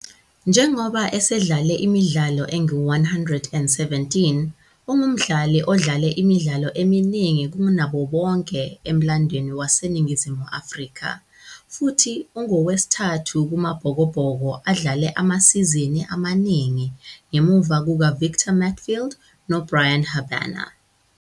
Njengoba esedlale imidlalo engu-117, ungumdlali odlale imidlalo eminingi kunabo bonke emlandweni waseNingizimu Afrika futhi ungowesithathu kumaBhokobhoko adlale amasizini amaningi ngemuva kukaVictor Matfield noBryan Habana.